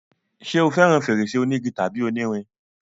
ṣé o fẹràn fèrèsé onígi tàbí onírin?